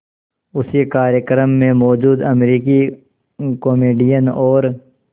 उसी कार्यक्रम में मौजूद अमरीकी कॉमेडियन और